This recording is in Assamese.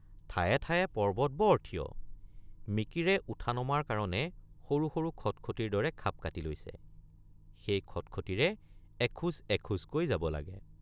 ঠায়ে ঠায়ে পৰ্বত বৰ থিয় মিকিৰে উঠানমাৰ কাৰণে সৰু সৰু খটখটীৰ দৰে খাপ কাটি লৈছে সেই খটখটীৰে এখোজ এখোজকৈ যাব লাগে।